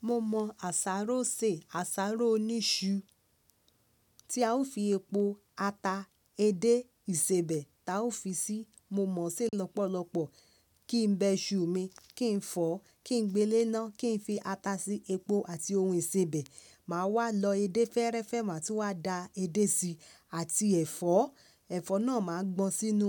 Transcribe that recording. Mo mọ àsáró ṣe, àsáró oní iṣu tí a ó fi epo, ata, edé, ìsebẹ̀ ta ó fi síi. Mo mọ̀ ṣe lọ́pọ̀lọ́pọ̀ kí n bẹ iṣu mi, kí n fọ, kí n gbé léná, kí n fi ata sí i, epo àti ohun ìsebẹ̀. Mà á wá lọ edé fẹ́ẹ́rẹ́fẹ́ má tun wá da edé síi àti ẹ̀fọ́. Ẹ̀fọ́ náà má a gbọn sínú